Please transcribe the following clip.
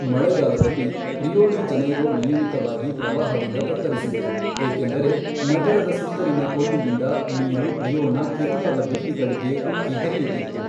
ಮಳೆಗಾಲದಲ್ಲಿ, Rio de Janeiro ನಿಯಮಿತವಾಗಿ ಪ್ರವಾಹದಿಂದ ತತ್ತರಿಸಿತ್ತು, ಏಕೆಂದರೆ ನಗರದ ಸುತ್ತಲಿನ ಕೊಲ್ಲಿಯಿಂದ ನೀರು ರಿಯೋನ ಕಿರಿದಾದ ಬೀದಿಗಳಿಗೆ ಉಕ್ಕಿ ಹರಿಯುತ್ತಿತ್ತು.